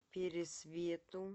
пересвету